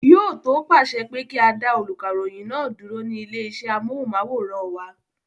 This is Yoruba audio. Yóò tó pàṣẹ pé kí á dá olùkàròyìn náà dúró ní ilé iṣẹ́ amóhùnmáwòrán wa.